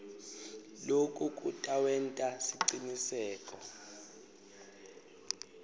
loku kutawenta siciniseko